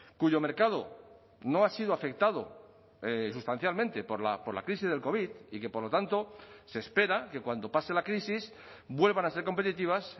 cuyo mercado no ha sido afectado sustancialmente por la crisis del covid y que por lo tanto se espera que cuando pase la crisis vuelvan a ser competitivas